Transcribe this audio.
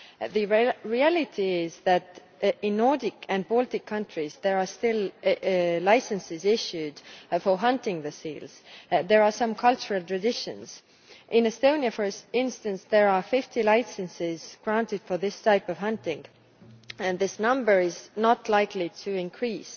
The reality is that, in Nordic and Baltic countries, there are still licenses issued for hunting seals. There are some cultural traditions in Estonia, for instance, there are 50 licenses granted for this type of hunting and this number is not likely to increase.